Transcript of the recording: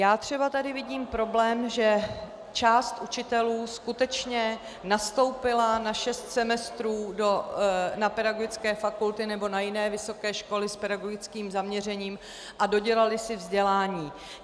Já třeba tady vidím problém, že část učitelů skutečně nastoupila na šest semestrů na pedagogické fakulty nebo na jiné vysoké školy s pedagogickým zaměřením a dodělali si vzdělání.